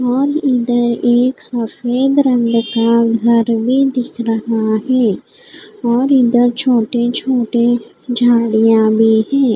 और इधर एक सफ़ेद रंग का घर भी दिख रहा है और इधर छोटे छोटे झाड़ियाँ भी है।